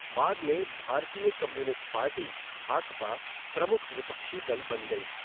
बाद में भारतीय कम्युनिस्ट पार्टी, भाकपा, प्रमुख विपक्षी दल बन गई।